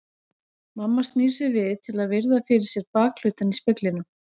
Mamma snýr sér við til að virða fyrir sér bakhlutann í speglinum.